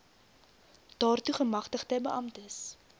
daartoe gemagtigde beamptes